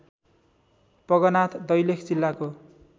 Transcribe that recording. पगनाथ दैलेख जिल्लाको